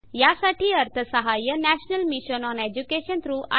यासाठी अर्थसहाय्य national mission on education through I